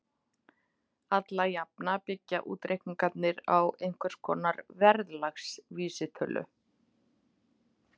Alla jafna byggja útreikningarnir á einhvers konar verðlagsvísitölu.